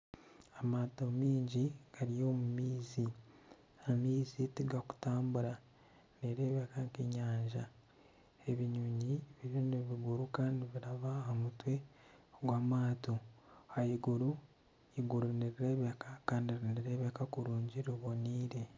Amaato mingi gari omu maizi. Amaizi tigari kutambura. Nerebeka nk'enyanja. Ebinyonyi biriyo nibiguruka nibiraba aha mutwe gw'amaato ah'iguru. Iguru nirirebeka Kandi nirirebeka kurungi riboneire.